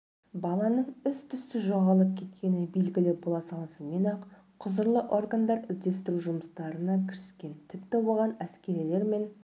баланың іс-түссіз жоғалып кеткені белгілі бола салысымен-ақ құзырлы органдар іздестіру жұмыстарына кіріскен тіпті оған әскерилер мен